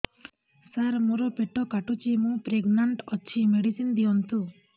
ସାର ମୋର ପେଟ କାଟୁଚି ମୁ ପ୍ରେଗନାଂଟ ଅଛି ମେଡିସିନ ଦିଅନ୍ତୁ